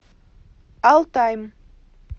алтайм